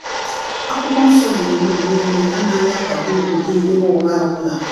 akwụkwọ nsọ gbụrụgbụrụ niile- anaghi akwado ụdị ịgha ụgha ọbụla.